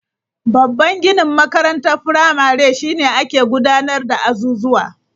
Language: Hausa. Babban ginin makarantar firamare shi ne ake gudanar da azuzuwa.